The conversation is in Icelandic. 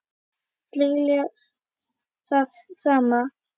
Allir vilja það sama.